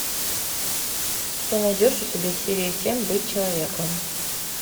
ты найдешь у себя серия семь быть человеком